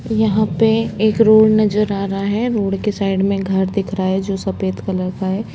यहां पे एक रोड नजर आ रहा है रोड के साइड में एक घर दिख रहा है जो सफ़ेद कलर का है।